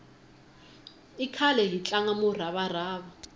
i khale hi tlanga murava rava